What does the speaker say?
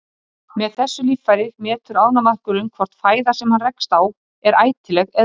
Með þessu líffæri metur ánamaðkurinn hvort fæða sem hann rekst á er ætileg eða ekki.